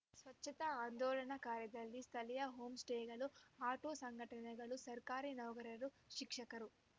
ಸ್ವಚ್ಛತಾ ಆಂದೋಲನಾ ಕಾರ್ಯದಲ್ಲಿ ಸ್ಥಳೀಯ ಹೋಂ ಸ್ಟೇಗಳು ಆಟೋ ಸಂಘಟನೆಗಳು ಸರ್ಕಾರಿ ನೌಕರರು ಶಿಕ್ಷಕರು